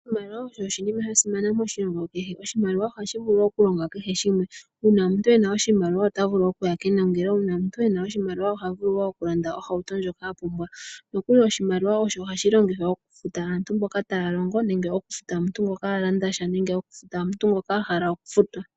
Oshimaliwa osho oshinima sha simana moshilongo kehe. Oshimaliwa ohashi vulu okulonga kehe shimwe. Uuna omuntu e na oshimaliwa ota vulu okuya kenongelo, ye oha vulu wo okulanda ohauto ndjoka a pumbwa. Oshimaliwa osho hashi longithwa okufuta aantu mboka taa longo, nenge okufuta omuntu ngoka a landa sha, nenge okufuta omuntu ngoka a hala okufutwa.